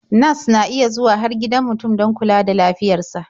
Nas na iya zuwa har gidan mutum don kula da lafiyar sa.